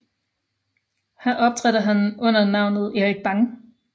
Her optrådte han under navnet Erik Bang